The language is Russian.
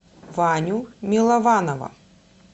ваню милованова